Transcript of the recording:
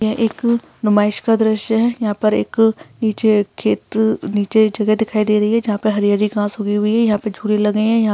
यह एक नुमाइश का दृश्य है | यहाँ पर एक नीचे खेत नीचे जगह दिखाई दे रही है यहां पे हरी-हरी घास उगी हुई है यहाँ पे झूले लगे हैं | यहाँ --